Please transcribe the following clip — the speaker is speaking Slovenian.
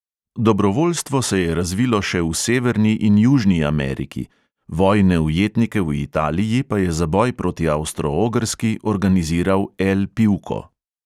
Dobrovoljstvo se je razvilo še v severni in južni ameriki, vojne ujetnike v italiji pa je za boj proti avstro-ogrski organiziral L pivko.